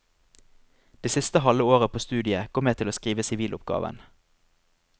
Det siste halve året på studiet går med til å skrive siviloppgaven.